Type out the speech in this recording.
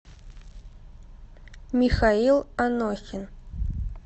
михаил анохин